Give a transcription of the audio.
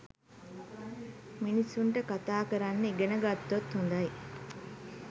මිනිසුන්ට කතා කරන්න ඉගෙන ගත්තොත් හොඳයි.